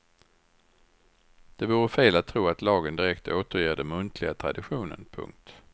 Det vore fel att tro att lagen direkt återger den muntliga traditionen. punkt